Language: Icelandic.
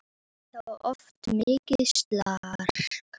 Það var oft mikið slark.